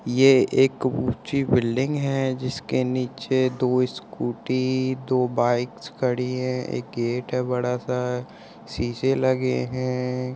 ये एक ऊंची बिल्डिंग है जिसके नीचे दो स्कूटी दो बाइक्स खड़ी है एक गेट है बड़ा सा। शीशे लगे हैं।